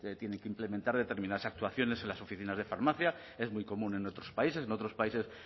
tiene que implementar determinadas actuaciones en las oficinas de farmacia es muy común en otros países en otros países